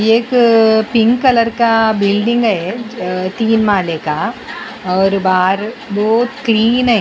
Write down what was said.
ये एक अ पिंक कलर का बिल्डिंग है अ तीन माले का बाहर बहुत क्लीन है।